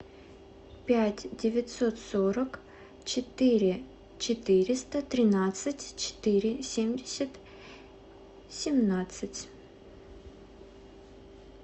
пять девятьсот сорок четыре четыреста тринадцать четыре семьдесят семнадцать